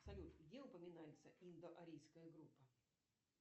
салют где упоминается индоарийская группа